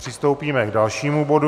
Přistoupíme k dalšímu bodu.